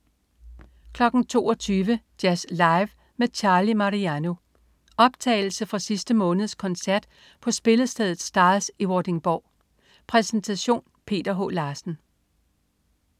22.00 Jazz Live med Charlie Mariano. Optagelse fra sidste måneds koncert på spillestedet Stars i Vordingborg. Præsentation: Peter H. Larsen